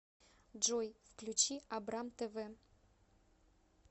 джой включи абрам тэ вэ